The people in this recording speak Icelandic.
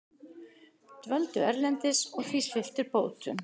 Dvöldu erlendis og því sviptir bótum